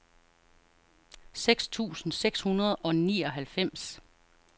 syv tusind seks hundrede og nioghalvfems